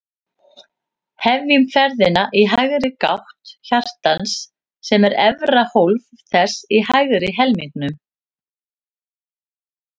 Hefjum ferðina í hægri gátt hjartans, sem er efra hólf þess í hægri helmingnum.